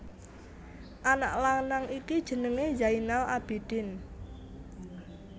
Anak lanang iki jenengé Zainal Abidin